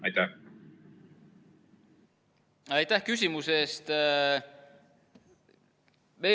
Aitäh küsimuse eest!